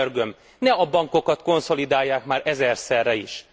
És könyörgöm, ne a bankokat konszolidálják már ezerszerre is!